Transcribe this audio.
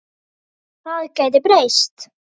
Það gæti breyst.